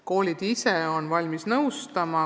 Koolid ise on igati valmis nõustama.